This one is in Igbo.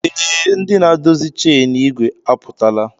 Ee, ndị na-adọzi chen ìgwè apụtala